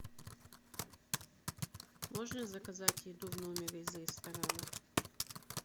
можно заказать еду в номер из ресторана